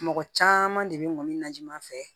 Mɔgɔ caman de bɛ ŋɔni na ji ma fɛ